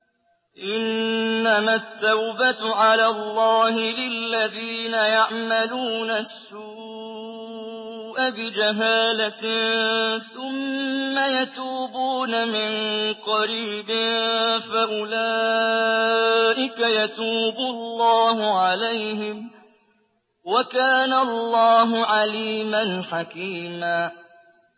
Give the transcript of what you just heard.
إِنَّمَا التَّوْبَةُ عَلَى اللَّهِ لِلَّذِينَ يَعْمَلُونَ السُّوءَ بِجَهَالَةٍ ثُمَّ يَتُوبُونَ مِن قَرِيبٍ فَأُولَٰئِكَ يَتُوبُ اللَّهُ عَلَيْهِمْ ۗ وَكَانَ اللَّهُ عَلِيمًا حَكِيمًا